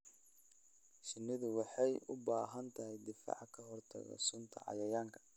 Shinnidu waxay u baahan tahay difaac ka hortagga sunta cayayaanka.